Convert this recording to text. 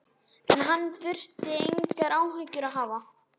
En hann þurfi engar áhyggjur að hafa.